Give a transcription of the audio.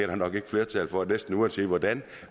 der nok ikke flertal for næsten uanset hvordan